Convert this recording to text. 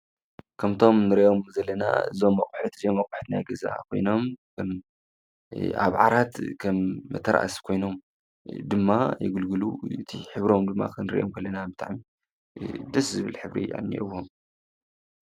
ከምቶም ንሪኦም ዘለና ዞም ኣቁሑት እዚኦም ኣቁሑት ናይ ገዛ ኮይኖም፣ ኣብ ዓራት ከም መተርኣሲ ኮይኖም ድማ የገልግሉ፣ እቲ ሕብሮም ድማ ክንሪኦም ደስ ዝብል ሕብሪ እዩ ዘልዎም።